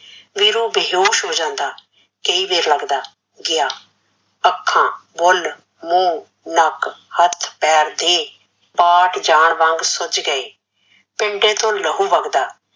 ਵੀਰੂ ਬੇਹੋਸ਼ ਹੋ ਜਾਂਦਾ, ਤੇ ਇਵੇ ਲੱਗਦਾ ਗਿਆ ਅੱਖਾਂ, ਬੁੱਲ, ਮੂੰਹ, ਨੱਕ, ਹੱਥ ਪੈਰ ਦੇਹ, ਪਾਟ ਜਾਣ ਵਾਂਗ ਸੁਜ ਗਏ, ਪਿੰਡੇ ਤੋਂ ਲਹੂ ਵਗਦਾ,